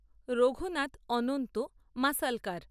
Raghunath Anant Masalkar